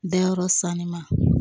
Dayɔrɔ sanni ma